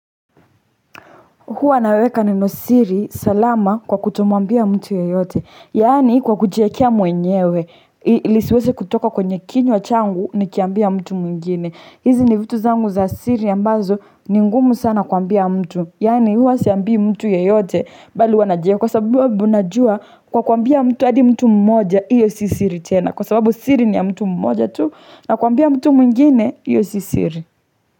Huwa naweka nenosiri salama kwa kutomwambia mtu yeyote. Yaani kwa kujiekea mwenyewe ili isiweze kutoka kwenye kinywa changu nikiambia mtu mwingine. Hizi ni vitu zangu za siri ambazo ni ngumu sana kuambia mtu. Yaani huwa siambii mtu yeyote bali huwa najua kwa sababu najua kwa kuambia mtu hadi mtu mmoja hiyo si siri tena. Kwa sababu siri ni ya mtu mmoja tu na kuambia mtu mwingine hiyo si siri.